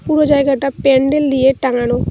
পুরো জায়গাটা প্যান্ডেল দিয়ে টাঙ্গানো।